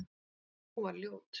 Og sú var ljót!